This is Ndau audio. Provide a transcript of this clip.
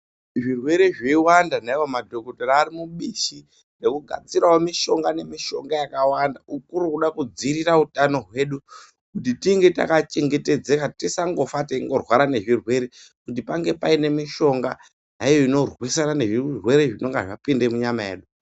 Zvirwere zveiwanda naivo madhokodheya ari mubishi rekugadzirawo mishonga nemishonga yakawanda, kuri kuda kudzivirira hutano hwedu kuti tinge takachengetedzeka. Tisangofa teingorwara nezvirwere pange paine mishonga naiyo inorwisana nezvirwere zvinenge zvapinda munyama yedu.